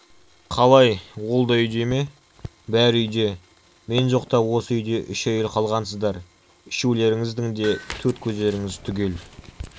қалай ол да үйде ме бәрі үйде мен жоқта осы үйде үш әйел қалғансыздар үшеулеріңіздің де төрт көздеріңіз түгел